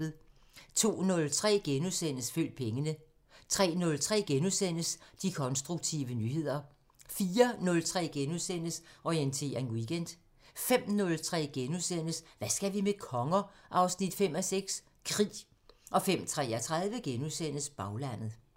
02:03: Følg pengene * 03:03: De konstruktive nyheder * 04:03: Orientering Weekend * 05:03: Hvad skal vi med konger? 5:6 – Krig * 05:33: Baglandet *